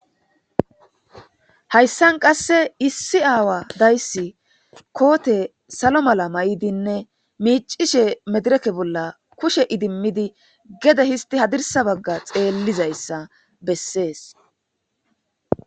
hayssan qasse issi aawa dayssi koote salo mala may7idinne miicishe medireke bolla kushe idimidi gede histi hadirsa bagga xeellizayssa bessees